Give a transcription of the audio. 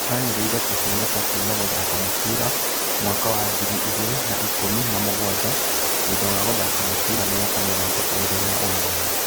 Anĩrĩire kũhurũka kuuma gũthaka mũbira mwaka wa ngirĩ igĩrĩ na-ikũmi na mũgwanja thutha wa gũthaka mũbira mĩaka mĩrongo ĩrĩ na ũmwe.